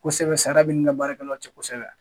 Kosɛbɛ sara bɛ ni ka baarakɛlaw cɛ kosɛbɛ.